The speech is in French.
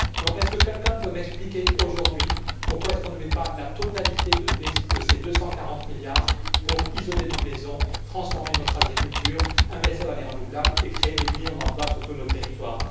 Est ce que quelqu'un peut m'expliquer, aujourd'hui, pourquoi on ne met pas la totalité de ces 240 milliards pour isoler nos maisons, transformer notre agriculture, investir dans les renouvelables et créer des millions d'emplois sur tous nos territoires?